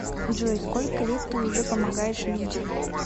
джой сколько лет ты уже помогаешь людям